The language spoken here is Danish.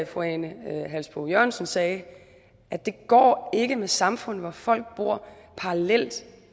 fru ane halsboe jørgensen sagde går det ikke med samfund hvor folk bor parallelt